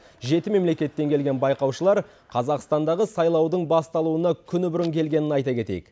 жеті мемлекеттен келген байқаушылар қазақстандағы сайлаудың басталуына күні бұрын келгенін айта кетейік